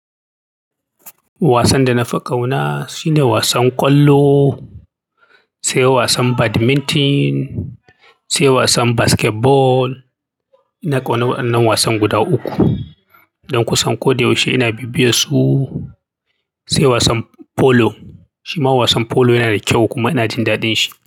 Wasan da na fi ƙauna shine wasan ƙwallo, sai wasan badminton, sai wasan basketball. Ina ƙaunar wadannan wasan guda uku. Don ku san ko da yaushe ina bibiye su, sai wasan polo. Shima wasan polo yana da kyau kuma ina jin daɗin shi.